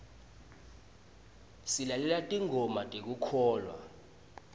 silalela tingoma tekukholwa